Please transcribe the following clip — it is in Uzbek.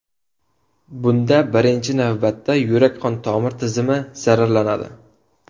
Bunda birinchi navbatda yurak qon tomir tizimi zararlanadi.